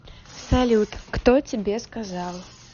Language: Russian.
салют кто тебе сказал